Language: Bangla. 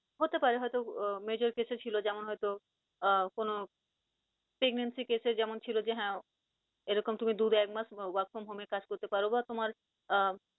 হতে পারে হয়তো আহ major কিছু ছিল, যেমন হয়তো আহ কোন pregnancy case এ যেমন ছিল যে হ্যাঁ, এরকম তুমি দু বা একমাস work from home এ কাজ করতে পারো, বা তোমার আহ